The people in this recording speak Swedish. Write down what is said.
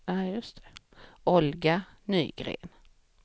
Olga Nygren